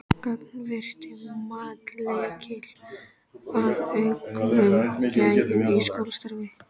Gagnvirkt mat: Lykill að auknum gæðum í skólastarfi?